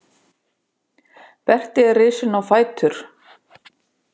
Berti er risinn á fætur.